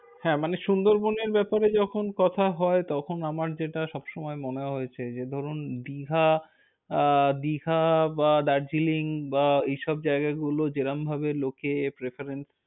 হ্যাঁ মানে সুন্দরবন এর ব্যাপারে যখন কথা হয় তখন আমার যেটা সবসময় মনে হয়েছে যে ধরুন, দীঘা আহ দীঘা বা দার্জিলিং বা এই সব জায়গাগুলো যেরম ভাবে লোকে preference ।